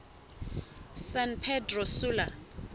san pedro sula